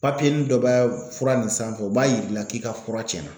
Papiyeni dɔ bɛ fura nin sanfɛ o b'a yiri la k'i ka fura cɛnna.